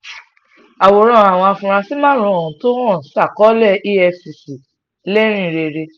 àwòrán àwọn afurasí márùn-ún tó há sákò̩lé efcc ńlérìn rèé